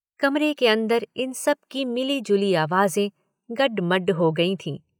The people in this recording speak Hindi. कमरे के अंदर इन सब की मिली जुली आवाजें गड्ड-मड्ड हो गई थीं।